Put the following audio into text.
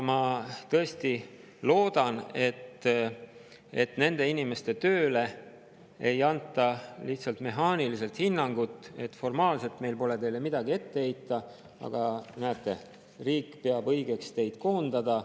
Ma tõesti loodan, et nende inimeste tööle ei anta mehaaniliselt hinnangut, et formaalselt meil pole teile midagi ette heita, aga näete, riik peab õigeks teid koondada.